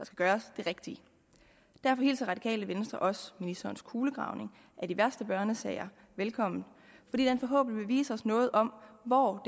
gøres det rigtige derfor hilser radikale venstre også ministerens kulegravning af de værste børnesager velkommen fordi den forhåbentlig vil vise os noget om hvor